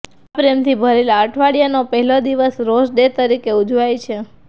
આ પ્રેમથી ભરેલા અઠવાડિયાનો પહેલો દિવસ રોઝ ડે તરીકે ઉજવાય છે